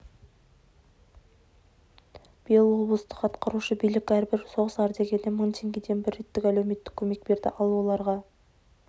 биыл облыстық атқарушы билік әрбір соғыс ардагеріне мың теңгеден бір реттік әлеуметтік көмек берді ал оларға